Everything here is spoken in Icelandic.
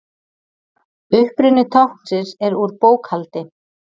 Uppruni táknsins er úr bókhaldi.